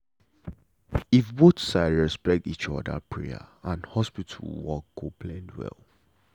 if both side respect each other prayer and hospital work go blend well.